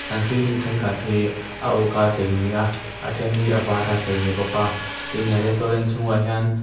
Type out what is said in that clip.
an ceiling thenkhat hi a uk a chei ani a a then hi a var a chei ani bawk a tin he restaurant chhung ah hian--